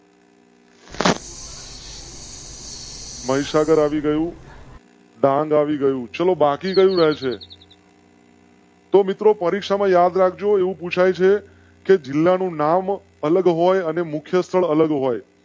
મહીસાગર આવી ગયું. ડાંગ આવી ગયું ચલો બાકી રહે છે . તો મિત્રો પરીક્ષા માં યાદ રાખ. જો કે જિલ્લા નું નામ અલગ હોય અને મુખ્ય સ્થળ અલગ હોય.